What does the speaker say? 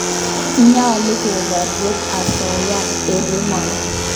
Nyalu keporye asoya eng' emoni